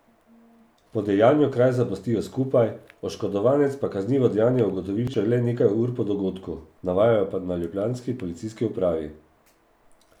Po dejanju kraj zapustijo skupaj, oškodovanec pa kaznivo dejanje ugotovi šele nekaj ur po dogodku, navajajo na ljubljanski policijski upravi.